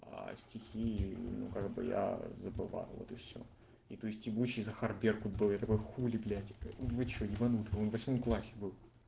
стихи ну как бы я забывал вот и всё и то есть ебучий захар беркут был такой хули блядь вы что ебанутый он в восьмом классе был